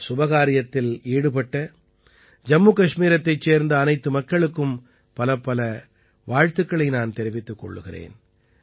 இந்த சுபகாரியத்தில் ஈடுபட்ட ஜம்மு கஷ்மீரத்தைச் சேர்ந்த அனைத்து மக்களுக்கும் பலப்பல வாழ்த்துக்களை நான் தெரிவித்துக் கொள்கிறேன்